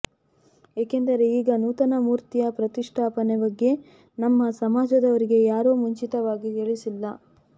ಏಕೆಂದರೆ ಈಗ ನೂತನ ಮೂರ್ತಿಯ ಪ್ರತಿಷ್ಠಾಪನೆ ಬಗ್ಗೆ ನಮ್ಮ ಸಮಾಜದವರಿಗೆ ಯಾರೂ ಮುಂಚಿತವಾಗಿ ತಿಳಿಸಿಲ್ಲ